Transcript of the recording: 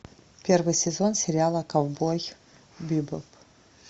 первый сезон сериала ковбой бибоп